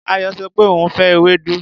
Ayọ sọ pé òun ò fẹ́ ewédú.